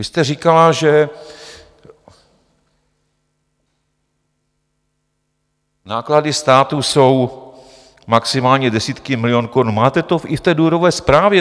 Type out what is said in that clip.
Vy jste říkala, že náklady státu jsou maximálně desítky milionů korun, máte to i v té důvodové zprávě.